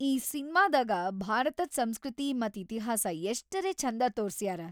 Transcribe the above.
ಈ ಸಿನ್ಮಾದಾಗ ಭಾರತದ್ ಸಂಸ್ಕೃತಿ ಮತ್ತ್ ಇತಿಹಾಸ ಎಷ್ಟರೆ ಛಂದ ತೋರ್ಸ್ಯಾರ.